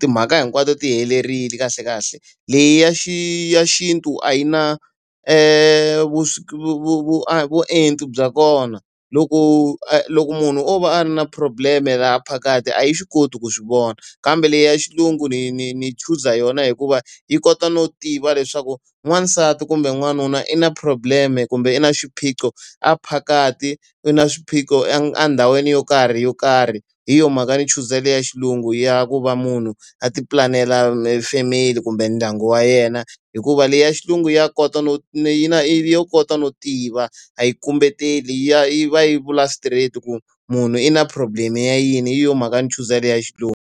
timhaka hinkwato ti helerile kahlekahle. Leyi ya xintu a yi na vuenti bya kona. Loko a loko munhu o va a ri na problem-e la phakathi a yi swi koti ku swi vona, kambe leyi ya xilungu ni ni ni chuza yona hikuva yi kota no tiva leswaku n'wansati kumbe n'wanuna i na problem-e kumbe i na xiphiqo a phakathi i na swiphiqo endhawini yo karhi yo karhi. Hi yona mhaka ndzi chuzile leyi ya xilungu ya ku va munhu a tipulanela family kumbe ndyangu wa yena. Hikuva leyi ya xilungu ya kota no yi na ya kota no tiva, a yi kumbeteli ya yi va yi vula straight-i ku munhu i na problem-e ya yini hi yo mhaka ndzi chuzile ya xilungu.